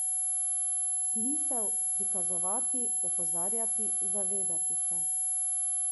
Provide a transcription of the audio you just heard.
Smisel prikazovati, opozarjati, zavedati se ...